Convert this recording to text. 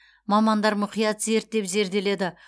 мамандар мұқият зерттеп зерделеді